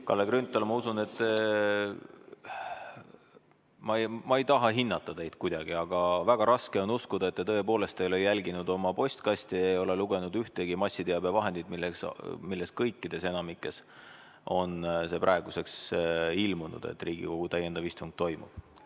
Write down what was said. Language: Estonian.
Kalle Grünthal, ma ei taha hinnata teid kuidagi, aga väga raske on uskuda, et te tõepoolest ei ole jälginud oma postkasti, ei ole lugenud ühtegi massiteabevahendit, milles kõikides või enamikus on praeguseks ilmunud see teade, et Riigikogu täiendav istung toimub.